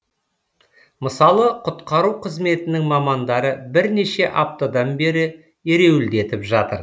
мысалы құтқару қызметінің мамандары бірнеше аптадан бері ереуілдетіп жатыр